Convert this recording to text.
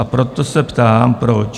A proto se ptám, proč.